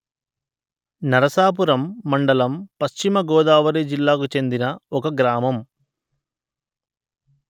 నరసాపురం మండలం పశ్చిమ గోదావరి జిల్లాకు చెందిన ఒక గ్రామము